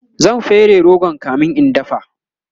zan fere rogon kamin in dafa